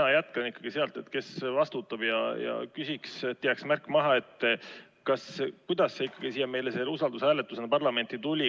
Mina jätkan ikkagi sealt, kes vastutab, ja küsin, et jääks märk maha, kuidas see ikkagi usaldushääletusena meile parlamenti tuli.